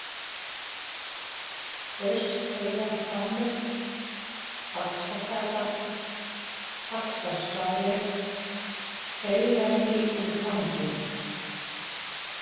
Fauskheiðarhvammur, Faxagata, Faxaskáli, Feigðarvíkurtangi